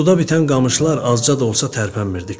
Suda bitən qamışlar azca da olsa tərpənmirdi.